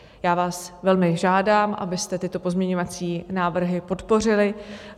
Já vás velmi žádám, abyste tyto pozměňovací návrhy podpořili.